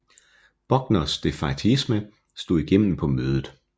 Buckners defaitisme slog igennem på mødet